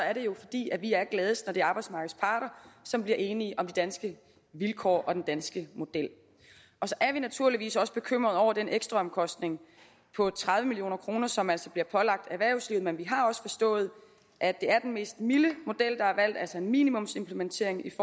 er det jo fordi vi er gladest når det er arbejdsmarkedets parter som bliver enige om de danske vilkår og om den danske model så er vi naturligvis også bekymrede over den ekstraomkostning på tredive million kr som altså bliver pålagt erhvervslivet men vi har også forstået at det er den mildeste model der er valgt altså en minimumsimplementering